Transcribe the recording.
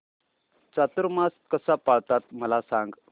चातुर्मास कसा पाळतात मला सांग